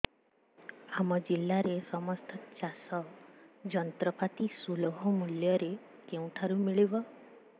ଆମ ଜିଲ୍ଲାରେ ସମସ୍ତ ଚାଷ ଯନ୍ତ୍ରପାତି ସୁଲଭ ମୁଲ୍ଯରେ କେଉଁଠାରୁ ମିଳିବ